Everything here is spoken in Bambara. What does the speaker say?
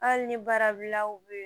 Hali ni baarabilaw bɛ yen